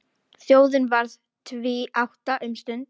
Þjóðin varð tvíátta um stund.